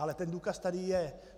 Ale ten důkaz tady je.